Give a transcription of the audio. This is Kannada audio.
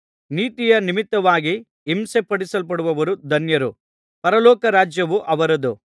ನೀತಿಯ ನಿಮಿತ್ತವಾಗಿ ಹಿಂಸಿಸಲ್ಪಡುವವರು ಧನ್ಯರು ಪರಲೋಕ ರಾಜ್ಯವು ಅವರದು